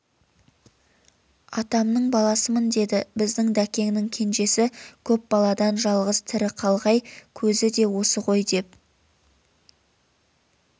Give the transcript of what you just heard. атамның баласымын деді біздің дәкеңнің кенжесі көп баладан жалғыз тірі қалғай көзі де осы ғой деп